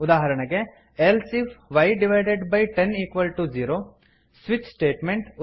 ಉದಾಹರಣೆಗೆ160 else if y divided by ten equals to zero switch statement